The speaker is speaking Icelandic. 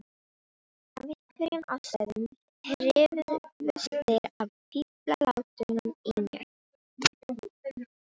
af einhverjum ástæðum hrifust þeir af fíflalátunum í mér.